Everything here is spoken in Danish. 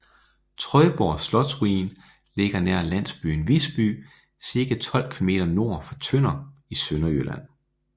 Trøjborg Slotsruin ligger nær landsbyen Visby cirka 12 km nord for Tønder i Sønderjylland